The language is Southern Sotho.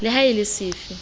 le ha e le sefe